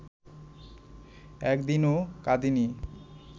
একদিনও কাঁদিনি